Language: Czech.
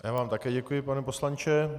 Já vám také děkuji, pane poslanče.